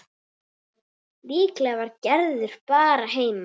Líklega var Gerður bara heima.